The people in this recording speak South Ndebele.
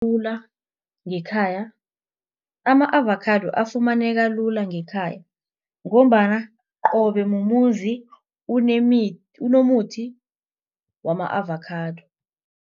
ngekhaya ama-avakhado afumaneka lula ngekhaya ngombana qobe mumuzi unomuthi wama-avakhado.